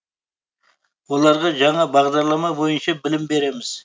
оларға жаңа бағдарлама бойынша білім береміз